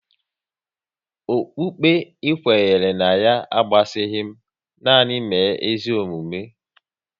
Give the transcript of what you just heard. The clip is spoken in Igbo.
Okpukpe ị kwere ná ya agbasaghi m, nanị mee ezigbo omume